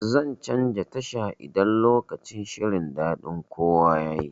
Zan canza tasha idan lokacin shirin daɗin kowa yayi.